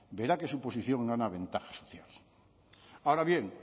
verá que su posición gana ventaja social ahora bien